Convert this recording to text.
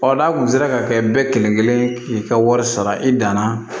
Ɔ n'a kun sera ka kɛ bɛɛ kelen kelen k'i ka wari sara i danna